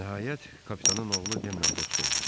Nəhayət kapitanın oğlu denlə dost olduq.